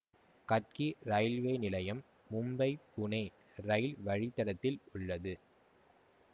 Gadkari railway நிலையம் Mumbai Pune rail வழித்தடத்தில் உள்ளது